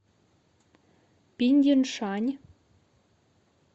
пиндиншань